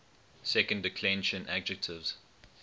second declension adjectives